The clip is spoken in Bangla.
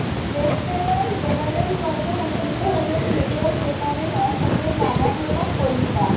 লেফটেনাণ্ট জেনারেল পদে উন্নীত হলেন মেজর জেনারেল অসমের রানা প্ৰতাপ কলিতা